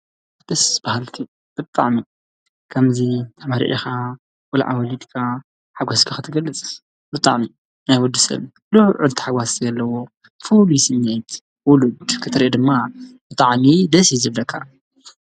ደስ በሃልቲ ብጣዕሚ ከምዙይ ተመርዒኻ ቖልዓ ወሊድኻ ሓጐስካ ኽትገልጽ ብጣዕሚ ናይ ወዲሰብ ልዑል ታሕጓስ ዘለዎ ፍሉይ ስምዒት ውሉድ ክትርኢ ድማ ብጣዕሚ ደስ እዩ ዝብለካ